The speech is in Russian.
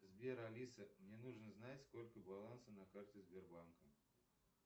сбер алиса мне нужно знать сколько баланса на карте сбербанка